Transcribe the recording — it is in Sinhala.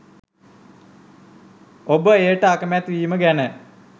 ඔබ එයට අකමැති වීම ගැන